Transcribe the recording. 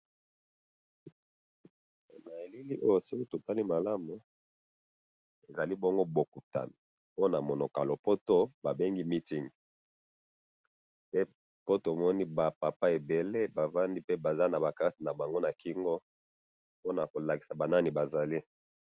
na eliili oyo soki totali malamu, ezali bongo bokutana, pe namonoko ya lopoto babengi meeting, pe tomoni ba papa ebele bafandi, pe baza naba cartes na bango na kingo, pe bakolakisaka banani bazali